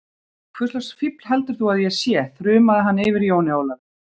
Hvurslags fífl heldur þú að ég sé, þrumaði hann yfir Jóni Ólafi.